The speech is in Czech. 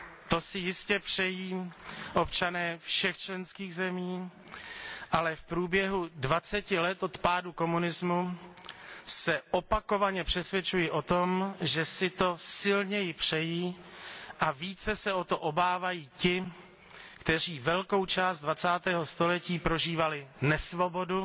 To si jistě přejí občané všech členských zemí, ale v průběhu dvaceti let od pádu komunismu se opakovaně přesvědčuji o tom, že si to silněji přejí a více se o to obávají ti, kteří velkou část dvacátého století prožívali nesvobodu